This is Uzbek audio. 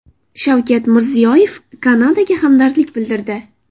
Shavkat Mirziyoyev Kanadaga hamdardlik bildirdi.